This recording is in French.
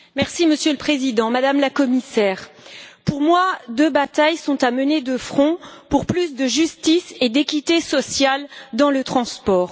Monsieur le Président, Madame la Commissaire, pour moi, deux batailles sont à mener de front pour plus de justice et d'équité sociale dans le domaine des transports.